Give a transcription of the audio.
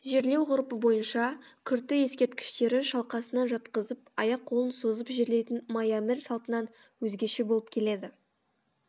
жерлеу ғұрпы бойынша күрті ескерткіштері шалқасынан жатқызып аяқ қолын созып жерлейтін майәмір салтынан өзгеше болып келеді